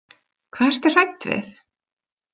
Hvað ertu hrædd við?